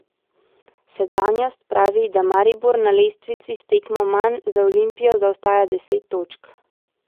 Sedanjost pravi, da Maribor na lestvici s tekmo manj za Olimpijo zaostaja deset točk.